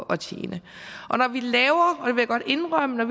at tjene når vi laver og jeg godt indrømme